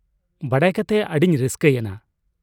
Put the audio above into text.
ᱵᱟᱰᱟᱭ ᱠᱟᱛᱮ ᱟᱹᱰᱤᱧ ᱨᱟᱹᱥᱠᱟᱹᱭᱮᱱᱟ ᱾